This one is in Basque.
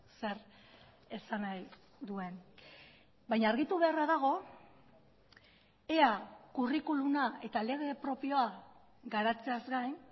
zer esan nahi duen baina argitu beharra dago ea curriculuma eta lege propioa garatzeaz gain